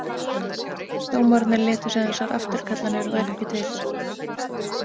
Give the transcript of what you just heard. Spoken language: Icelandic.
Dómararnir létu sem þessar afturkallanir væru ekki til.